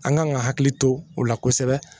An kan ka hakili to u la kosɛbɛ